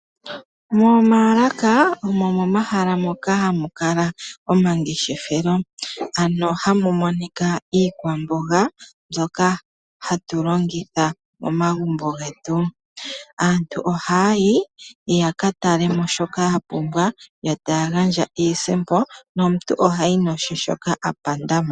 Moomaalaka omo momahala moka hamu kala omangeshefelo, ano hamu monika iikwamboga mbyoka hatu longitha momagumbo getu. Aantu ohaa yi ya ka tale mo shoka ya pumbwa, yo taya gandja iisimpo, nomuntu ohayi noshe shoka a panda mo.